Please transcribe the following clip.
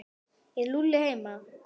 Er Lúlli heima?